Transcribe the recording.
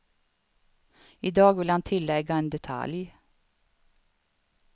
I dag vill han tillägga en detalj.